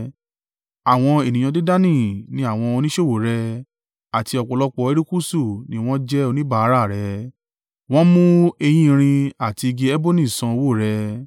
“ ‘Àwọn ènìyàn Dedani ni àwọn oníṣòwò rẹ, àti ọ̀pọ̀lọpọ̀ erékùṣù ni wọ́n jẹ́ oníbàárà rẹ̀; wọ́n mú eyín erin àti igi eboni san owó rẹ.